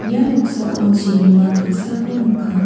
ia noksao chibima dilsako nika.